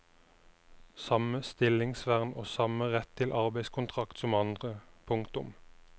Samme stillingsvern og samme rett til arbeidskontrakt som andre. punktum